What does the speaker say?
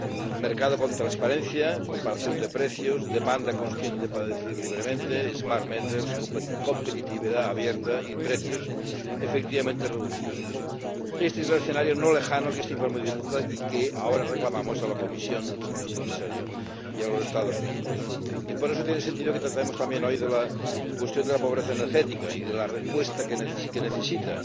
Un mercado con transparencia, comparación de precios, demanda consciente para decidir libremente, smart meters competitividad abierta y precios efectivamente reducidos. Este es el escenario no lejano que este informe dibuja y que ahora reclamamos a la Comisión, señor Comisario, y a los Estados miembros. Y por eso tiene sentido que tratemos también hoy la cuestión de la pobreza energética y la respuesta que necesita.